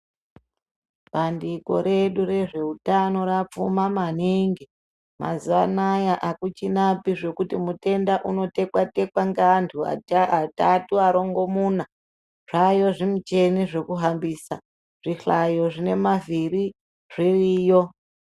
Bandiko redu rezveutano rapfuma maningi hakuchina zvekuti muntu anotekwa tekwane antu ngeantu atatu marongo muna zvaayo zvimuchini zvekuhambisa zvihlayo zvine maviri zviriyo.